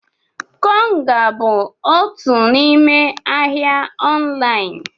Konga bụ otu n'ime ahịa ọnlaịn.